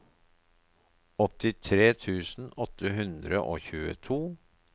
åttitre tusen åtte hundre og tjueto